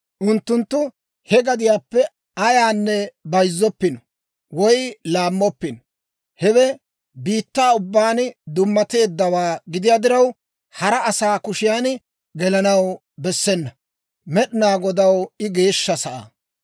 Unttunttu he gadiyaappe ayaanne bayizzoppino woy laammoppino. Hewe biittaa ubbaan dummateeddawaa gidiyaa diraw, hara asaa kushiyan gelanaw bessena; Med'inaa Godaw I geeshsha sa'aa.